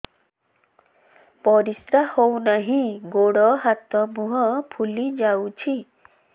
ପରିସ୍ରା ହଉ ନାହିଁ ଗୋଡ଼ ହାତ ମୁହଁ ଫୁଲି ଯାଉଛି